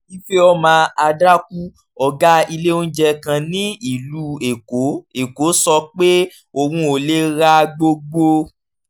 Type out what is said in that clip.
ifeoma adaku ọ̀gá ilé oúnjẹ kan ní ìlú èkó èkó sọ pé òun ò lè ra gbogbo